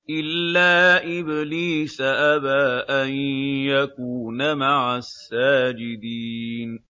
إِلَّا إِبْلِيسَ أَبَىٰ أَن يَكُونَ مَعَ السَّاجِدِينَ